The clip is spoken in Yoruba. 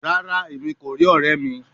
Rara, Emi ko ri ọrẹ mi